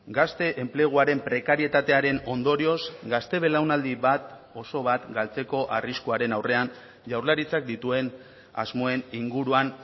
gazte enpleguaren prekarietatearen ondorioz gazte belaunaldi bat oso bat galtzeko arriskuaren aurrean jaurlaritzak dituen asmoen inguruan